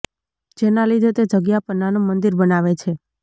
જેના લીધે તે જગ્યા પર નાનું મંદિર બનાવે છે